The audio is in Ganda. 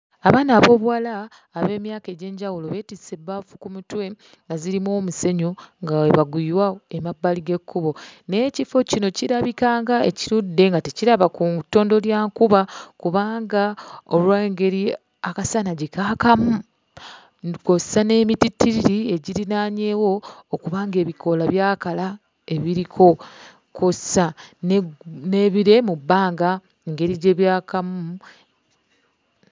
Abaana ab'obuwala ab'emyaka egy'enjawulo beetisse ebbaafu ku mutwe nga zirimu omusenyu nga bwe baguyiwa emabbali g'ekkubo. Naye ekifo kino kirabika ng'ekirudde nga tekiraba ku ttondo lya nkuba kubanga olw'engeri akasana gye kaakamu kw'ossa n'emitittiriri egirinaanyeewo okuba ng'ebikoola byakala ebiriko, kw'ossa n'ebire mu bbanga engeri gye byakamu.